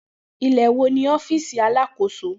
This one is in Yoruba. Ilẹ wo ni ọfiisi Alakoso?